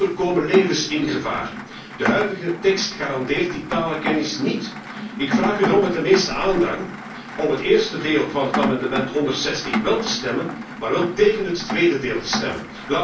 Anders komen levens in gevaar! De huidige tekst garandeert die talenkennis niet. Ik vraag u daarom met uiterste aandrang om vóór het eerste deel van het amendement 160 te stemmen, maar tégen het tweede deel te stemmen.